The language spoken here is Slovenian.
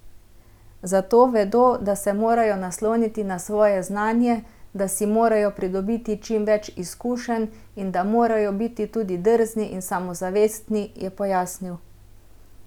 Zato vedo, da se morajo nasloniti na svoje znanje, da si morajo pridobiti čim več izkušenj in da morajo biti tudi drzni in samozavestni, je pojasnil.